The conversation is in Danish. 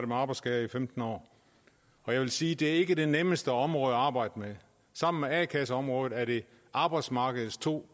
med arbejdsskader i femten år og jeg vil sige at det ikke er det nemmeste område at arbejde med sammen med a kasseområdet er det arbejdsmarkedets to